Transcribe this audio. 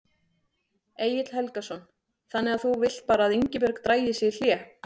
Egill Helgason: Þannig að þú vilt bara að Ingibjörg dragi sig í hlé?